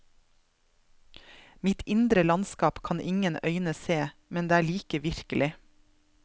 Mitt indre landskap kan ingen øyne se, men det er like virkelig.